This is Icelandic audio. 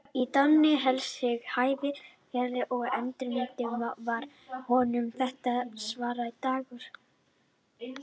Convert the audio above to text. En Danni hélt sig í hæfilegri fjarlægð, og í endurminningunni varð honum þetta svartur dagur.